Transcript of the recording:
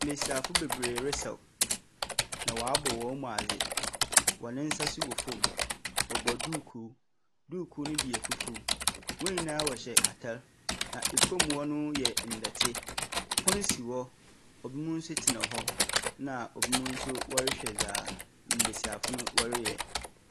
Mbesiafo bebere resaw, na wɔabɔ hɔn mu adze. Hɔn nsa nso wɔ fam. Wɔba duukuu. Duuku no bi yɛ fufuw. Hɔn nyinaa wɔhyɛ atar na famu hɔ no yɛ ndɛte. Pon si hɔ. Binom nso tsena hɔ, na binom nso wɔrehwɛ dza mbesiafo no wɔreyɛ.